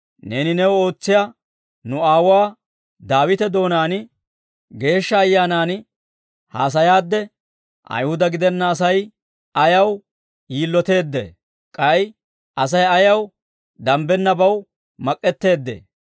Neeni New ootsiyaa nu aawuwaa Daawite doonaan Geeshsha Ayyaanan haasayaadde, « ‹Ayihuda gidenna Asay ayaw yiloteeddee? K'ay Asay ayaw danbbennabaw mak'k'eteeddee?